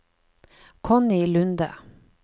Connie Lunde